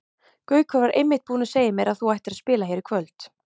Gaukur var einmitt búinn að segja mér að þú ættir að spila hér í kvöld.